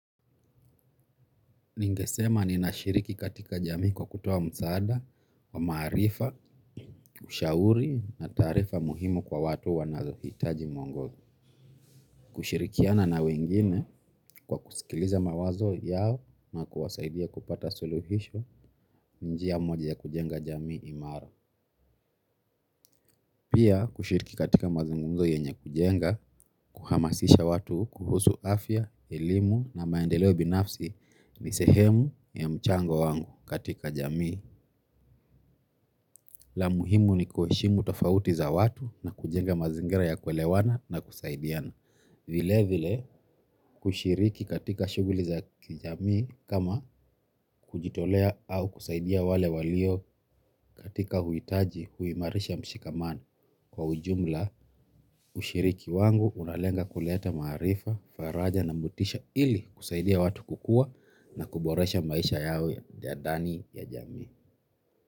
Ningesema ninashiriki katika jamii kwa kutoa msaada, wa maarifa, ushauri na taarifa muhimu kwa watu wanaohitaji mwongozo. Kushirikiana na wengine kwa kusikiliza mawazo yao na kuwasaidia kupata suluhisho njia moja ya kujenga jamii imara. Pia kushiriki katika mazungumzo yenye kujenga kuhamasisha watu kuhusu afya elimu na maendeleo binafsi ni sehemu ya mchango wangu katika jamii. La muhimu ni kuheshimu tofauti za watu na kujenga mazingira ya kuelewana na kusaidiana. Vile vile kushiriki katika shuguli za kijamii kama kujitolea au kusaidia wale walio katika uhitaji huimarisha mshikamano. Kwa ujumla ushiriki wangu unalenga kuleta maarifa, faraja na motisha ili kusaidia watu kukua na kuboresha maisha yawe ya ndani ya jamii.